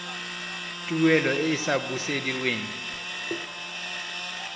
tuelo e e sa busediweng